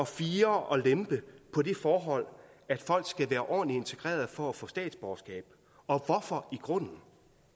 fire og lempe på det forhold at folk skal være ordentlig integreret for at få statsborgerskab og hvorfor i grunden